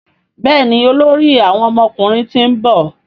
Béèni olórí àwọn ọmọkùnrin t'in nbọ.